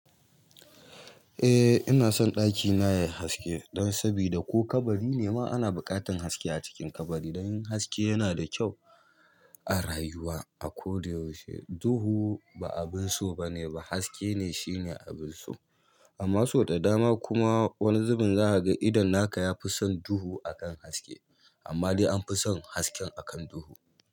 Eh ina son ɗakina yayi haske dan sabida ko kabari ne ma ana buƙatan haske a cikin kabari. Domin haske yana da kyau a rayuwa a koda yaushe. Duhu ba abin so bane, haske ne shine abin so. Amma so da dama kuma wani zubin za ka ga idon naka yafi son duhu akan haske. Amma dai anfi son haske akan duhu.